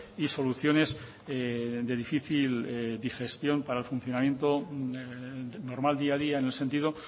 y soluciones de difícil digestión para el funcionamientos normal día a día en el sentido